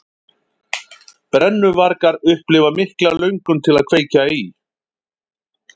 Brennuvargar upplifa mikla löngun til að kveikja í.